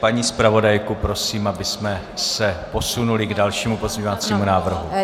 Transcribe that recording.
Paní zpravodajku prosím, abychom se posunuli k dalšímu pozměňovacímu návrhu.